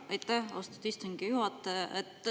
Aitäh, austatud istungi juhataja!